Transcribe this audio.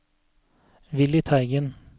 Willy Teigen